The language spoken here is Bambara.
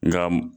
Nga